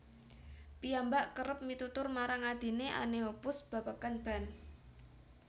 Piyambak kérép mitutur marang adhine Anne Hoppus babagan band